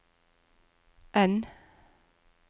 N